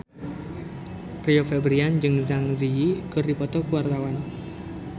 Rio Febrian jeung Zang Zi Yi keur dipoto ku wartawan